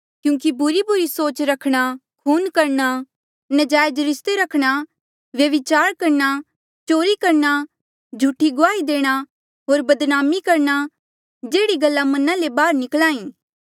क्यूंकि बुरेबुरे सोच रखणा खून करणा नजायज रिस्ते रखणा व्यभिचार करणा चोरी करणा झूठी गुआही देणा होर बदनामी करणा जेह्ड़ी गल्ला मना ले बाहर निकल्हा ई